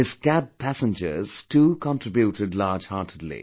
His cab passengers too contributed largeheartedly